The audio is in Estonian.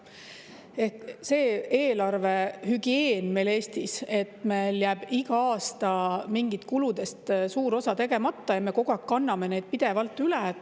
Meil Eestis on selline eelarvehügieen, et iga aasta jääb mingitest kuludest suur osa tegemata ja me kogu aeg kanname neid pidevalt üle.